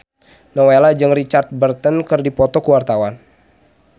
Nowela jeung Richard Burton keur dipoto ku wartawan